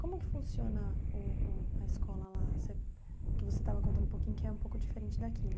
Como que funciona o o a escola lá, você que você estava contando um pouquinho, que é um pouco diferente daqui, né?